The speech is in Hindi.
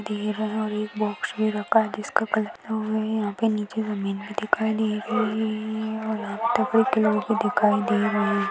दे रहा है एक बॉक्स मे रखा जिसका कलर है यहा पे नीचे जमीन भी दिखाई दे रही है और दिखाई दे रहा है।